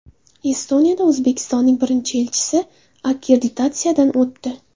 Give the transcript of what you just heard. Estoniyada O‘zbekistonning birinchi elchisi akkreditatsiyadan o‘tdi.